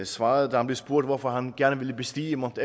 svarede da han blev spurgt hvorfor han gerne ville bestige mount